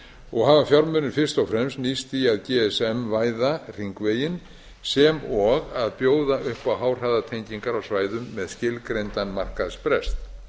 og hafa fjármunir fyrst og fremst nýst í að gsm væða hringveginn sem og að bjóða upp á háhraðatengingar á svæðum með skilgreindan markaðsbrest